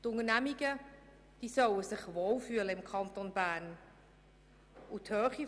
Die Unternehmungen sollen sich im Kanton Bern wohlfühlen.